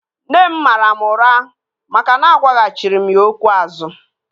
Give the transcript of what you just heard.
Nne m mara mụ ụra maka na agwaghachiri m ya okwu azu